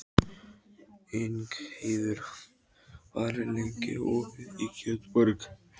Ingheiður, hvað er lengi opið í Kjötborg?